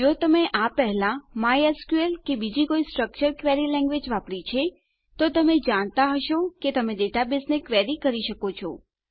જો તમે આ પહેલા માયસ્કલ કે બીજી કોઈ સ્ટ્રક્ચર્ડ ક્વેરી લેંગ્વેજ વાપરી છે તો તમે જાણતા હશો કે તમે ડેટાબેઝને ક્વેરી કરી શકો છો